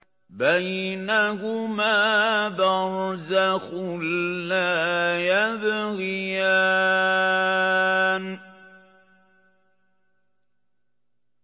بَيْنَهُمَا بَرْزَخٌ لَّا يَبْغِيَانِ